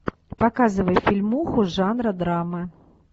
показывай фильмуху жанра драма